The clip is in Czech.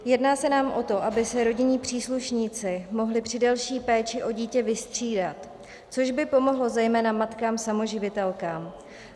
Jedná se nám o to, aby se rodinní příslušníci mohli při delší péči o dítě vystřídat, což by pomohlo zejména matkám samoživitelkám.